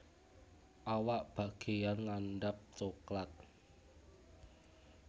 Awak bageyan ngandhap coklat